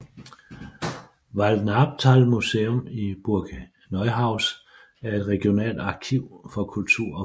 Waldnaabtalmuseum i Burg Neuhaus er et regionalt arkiv for kultur og folkekunst